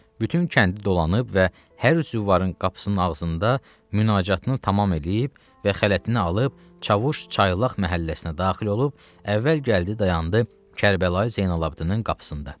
Bütün kəndi dolanıb və hər züvvarın qapısının ağzında münacatını tamam eləyib və xələtini alıb Çavuş Çaylaq məhəlləsinə daxil olub, əvvəl gəldi dayandı Kərbəlayı Zeynalabdin'in qapısında.